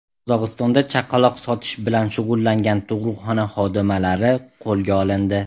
Qozog‘istonda chaqaloq sotish bilan shug‘ullangan tug‘ruqxona xodimalari qo‘lga olindi.